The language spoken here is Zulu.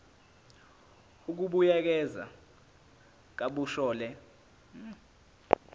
ukubuyekeza kabusha le